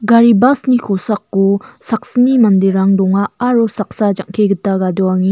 gari bas ni kosako saksni manderang donga aro saksa jang·ke gita gadoangenga --